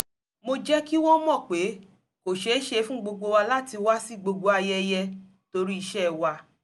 mo jẹ́ kí wọ́n mọ̀ pé kò ṣeéṣe fún gbogbo wa láti wá sí gbogbo ayẹyẹ torí iṣẹ́ wa